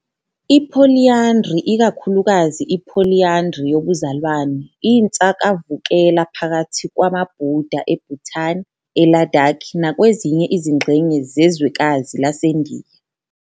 I-Polyandry, ikakhulukazi i-polyandry yobuzalwane, iyinsakavukela phakathi kwamaBuddha eBhutan, eLadakh, nakwezinye izingxenye zezwekazi laseNdiya.